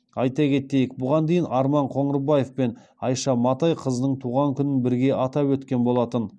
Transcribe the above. айта кетейік бұған дейін арман қоңырбаев пен айша матай қызының туған күнін бірге атап өткен болатын